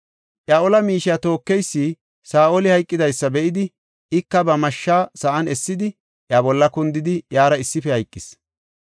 Iya ola miishiya tookeysi Saa7oli hayqidaysa be7idi, ika ba mashshaa sa7an essidi, iya bolla kundidi iyara issife hayqis.